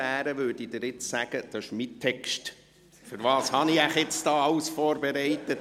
Wozu habe ich wohl alles für den Schluss vorbereitet?